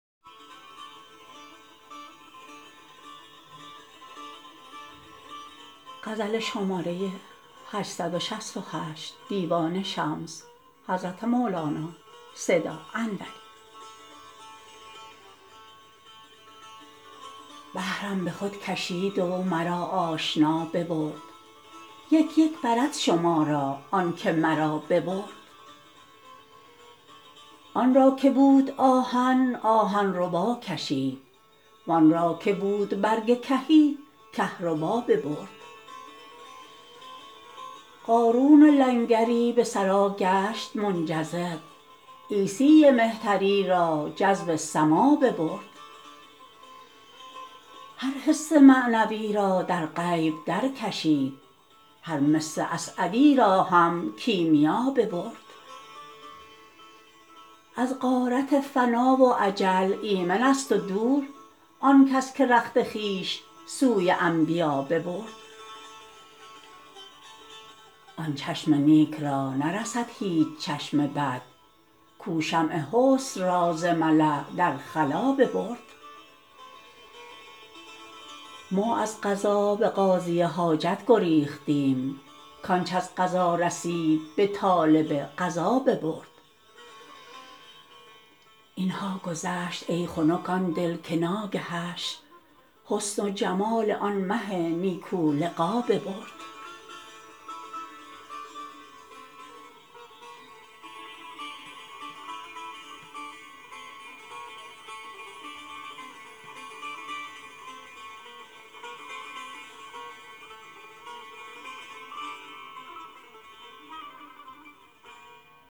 به حرم به خود کشید و مرا آشنا ببرد یک یک برد شما را آنک مرا ببرد آن را که بود آهن آهن ربا کشید وان را که بود برگ کهی کهربا ببرد قانون لنگری به ثری گشت منجذب عیسی مهتری را جذب سما ببرد هر حس معنوی را در غیب درکشید هر مس اسعدی را هم کیمیا ببرد از غارت فنا و اجل ایمنست و دور آن کس که رخت خویش سوی انبیا ببرد آن چشم نیک را نرسد هیچ چشم بد کو شمع حسن را ز ملاء در خلاء ببرد ما از قضا به قاضی حاجت گریختیم کنچ از قضا رسید به طالب قضا ببرد این ها گذشت ای خنک آن دل که ناگهش حسن و جمال آن مه نیکولقا ببرد